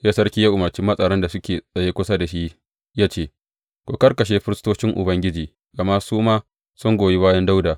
Sai sarki ya umarci matsaran da suke tsaye kusa da shi ya ce, Ku kakkashe firistocin Ubangiji, gama su ma sun goyi bayan Dawuda.